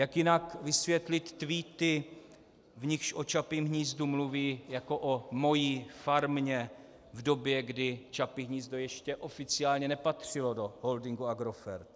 Jak jinak vysvětlit tweety, v nichž o Čapím hnízdu mluví jako o "mojí farmě" v době, kdy Čapí hnízdo ještě oficiálně nepatřilo do holdingu Agrofert?